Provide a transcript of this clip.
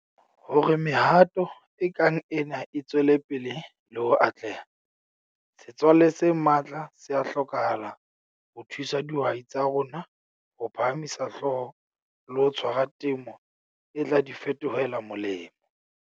Hore mehato e kang ena e tswele pele le ho atleha, setswale se matla se a hlokahala ho thusa dihwai tsa rona ho phahamisa hlooho le ho tshwara temo e tla di fetohela molemo.